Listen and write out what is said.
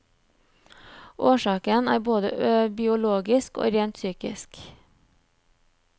Årsaken er både biologisk og rent psykisk.